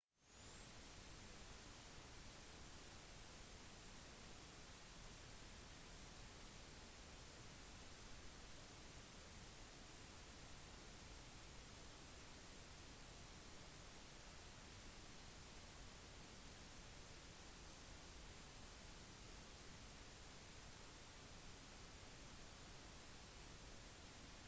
reisebyråer har drevet på siden det 19. århundre et reisebyrå er som regel et godt alternativ for en reise som er noe mer enn en reisendes tidligere opplevelse av natur kultur språk eller lavinntektsland